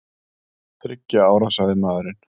Þriggja ára, sagði maðurinn.